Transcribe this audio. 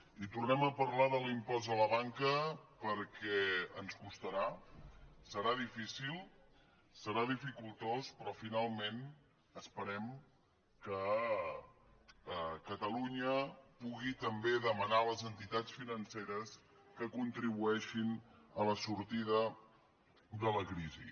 i tornem a parlar de l’impost a la banca perquè ens costarà serà difícil serà dificultós però finalment esperem que catalunya pugui també demanar a les entitats financeres que contribueixin a la sortida de la crisi